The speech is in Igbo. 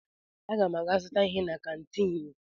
Aga m aga zụta ihe na kantiin.